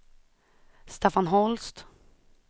Staffan Holst